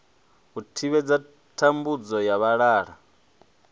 u thivhela thambudzo ya vhalala